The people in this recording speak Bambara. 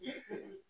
I y'a faamuya